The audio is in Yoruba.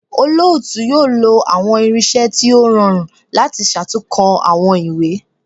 Olootu yoo lo awọn irinṣẹ ti o rọrun lati ṣatunkọ awọn iwe